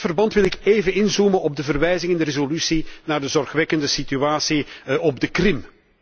In dat verband wil ik even inzoomen op de verwijzing in de resolutie naar de zorgwekkende situatie op de Krim.